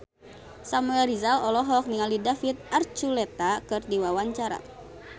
Samuel Rizal olohok ningali David Archuletta keur diwawancara